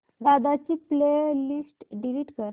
दादा ची playlist delete कर